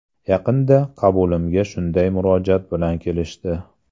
Yaqinda qabulimga shunday murojaat bilan kelishdi.